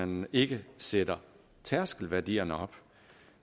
man ikke sætter tærskelværdierne op